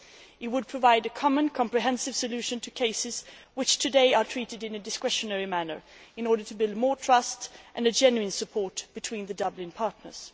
It would provide a common, comprehensive solution to cases which today are treated in a discretionary manner in order to build more trust and a genuine support between the Dublin partners.